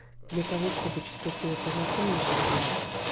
для того чтобы чувствовать себя полноценным и счастливым